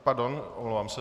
Pardon, omlouvám se.